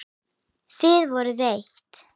Þið voruð eitt.